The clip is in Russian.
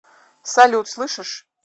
салют слышишь